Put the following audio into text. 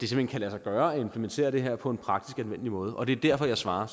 hen kan lade sig gøre at implementere det her på en praktisk og anvendelig måde og det er derfor jeg svarer